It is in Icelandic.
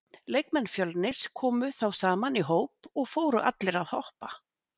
Leikmenn Fjölnis komu þá saman í hóp og fóru allir að hoppa.